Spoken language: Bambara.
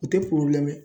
U tɛ